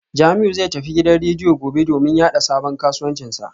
Jamiu zai tafi gidan rediyo gobe domin yada sabon kasuwancinsa